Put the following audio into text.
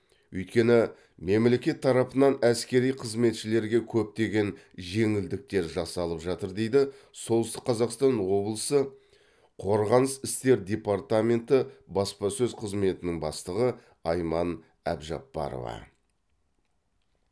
өйткені мемлекет тарапынан әскери қызметшілерге көптеген жеңілдіктер жасалып жатыр дейді солтүстік қазақстан облысы қорғаныс істер департаменті баспасөз қызметінің бастығы айман әбжапбарова